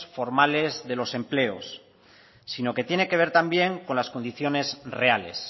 formales de los empleos sino que tiene que ver también con las condiciones reales